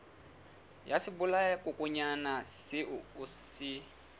ya sebolayakokwanyana seo o se